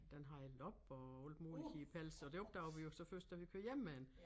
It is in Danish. Den har lopper og alt muligt i æ pels og de opdagede vi jo så først da vi kørte hjem med den